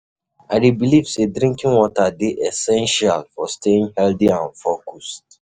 I dey believe say drinking water dey essential for staying healthy and focused.